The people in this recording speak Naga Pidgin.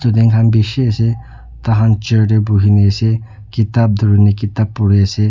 student khan bishi ase tai khan chair tae bhuina ase kitab dhruna kitab puri ase.